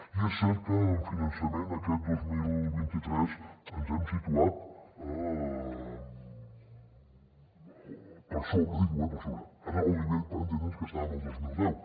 i és cert que amb finançament aquest dos mil vint tres ens hem situat per sobre o bé per sobre en el nivell per entendre’ns que estàvem el dos mil deu